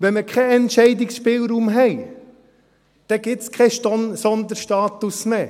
Wenn wir keinen Entscheidungsspielraum haben, dann gibt es keinen Sonderstatus mehr.